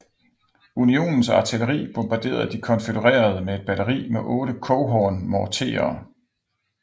Unionens artilleri bombarderede de konfødererede med et batteri med otte Coehorn morterer